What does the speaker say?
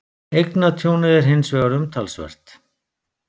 Eignatjónið er hins vegar umtalsvert